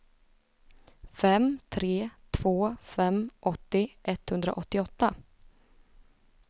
fem tre två fem åttio etthundraåttioåtta